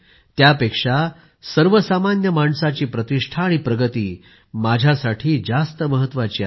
त्यापेक्षा सर्व सामान्य माणसाची प्रतिष्ठा आणि प्रगती माझ्यासाठी जास्त महत्वाची आहे